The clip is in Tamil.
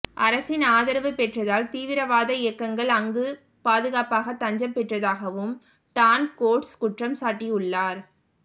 அரசின் ஆதரவு பெற்றதால் தீவிரவாத இயக்கங்கள் அங்கு பாதுகாப்பாக தஞ்சம் பெற்றதாகவும் டான் கோட்ஸ் குற்றம் சாட்டியுள்ளார்